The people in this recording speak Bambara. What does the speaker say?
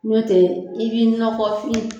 Ɲɔ tɛ i b'i nɔgɔfin.